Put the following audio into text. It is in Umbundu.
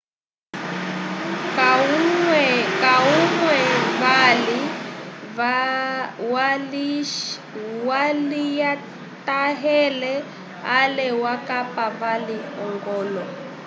kahumwe vali walisyatahele ale wakapa vali ogolo